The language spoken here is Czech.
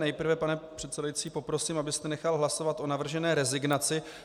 Nejprve, pane předsedající, poprosím, abyste nechal hlasovat o navržené rezignaci.